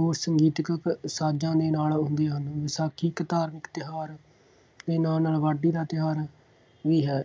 ਹੋਰ ਸੰਗੀਤਕ ਸਾਜ਼ਾਂ ਦੇ ਨਾਲ ਹੁੰਦੇ ਹਨ। ਵਿਸਾਖੀ ਇੱਕ ਧਾਰਮਿਲ ਤਿਉਹਾਰ ਦੇ ਨਾਲ ਨਾਲ ਵਾਢੀ ਦਾ ਤਿਉਹਾਰ ਵੀ ਹੈ।